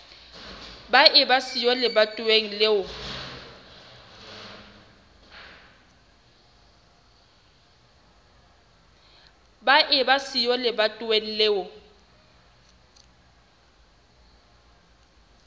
ba eba siyo lebatoweng leo